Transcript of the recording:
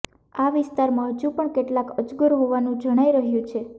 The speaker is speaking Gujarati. આ વિસ્તારમાં હજુ પણ કેટલાક અજગર હોવાનુ જણાઈ રહ્યુ છે